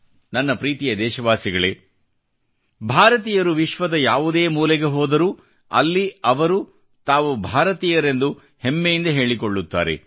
ನನ್ನ ಪ್ರೀತಿಯ ದೇಶವಾಸಿಗಳೇ ಭಾರತೀಯರು ವಿಶ್ವದ ಯಾವುದೇ ಮೂಲೆಗೆ ಹೋದರೂ ಅಲ್ಲಿ ಅವರು ತಾವು ಭಾರತೀಯರೆಂದು ಎಂದು ಹೆಮ್ಮೆಯಿಂದ ಹೇಳಿಕೊಳ್ಳುತ್ತಾರೆ